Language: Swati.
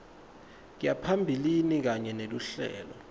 yaphambilini kanye neluhlelo